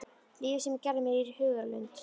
Lífið sem ég gerði mér í hugarlund að þau lifðu.